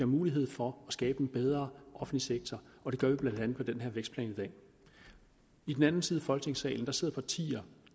mulighed for at skabe en bedre offentlig sektor og det gør vi blandt andet med den her vækstplan i den anden side af folketingssalen sidder partier